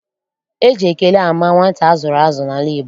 Eji ekele ama nwata a zụrụ azụ n'ala Igbo.